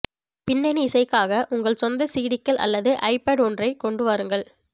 பின்னணி இசைக்காக உங்கள் சொந்த சிடிக்கள் அல்லது ஐபாட் ஒன்றைக் கொண்டு வாருங்கள்